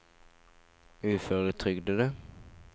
uføretrygdede